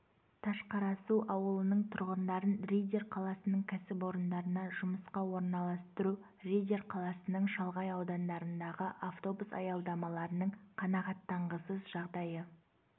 ташқарасу ауылының тұрғындарын риддер қаласының кәсіпорындарына жұмысқа орналастыру риддер қаласының шалғай аудандарындағы автобус аялдамаларының қанағаттанғысыз жағдайы